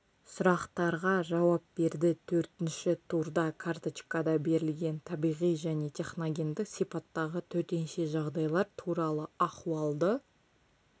сұрақтарға жауап берді төртінші турда карточкада берілген табиғи және техногендік сипаттағы төтенше жағдайлар туралы ахуалды